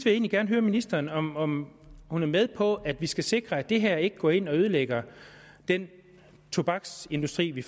egentlig gerne høre ministeren om om hun er med på at vi skal sikre at det her ikke går ind og ødelægger den tobaksindustri vi